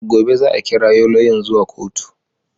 Gobe za a kirawo lauyan zuwa kotu